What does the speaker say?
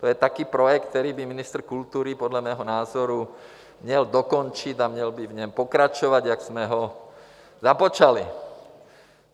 To je také projekt, který by ministr kultury podle mého názoru měl dokončit a měl by v něm pokračovat, jak jsme ho započali.